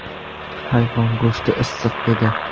Hayvon go‘shti issiq edi”.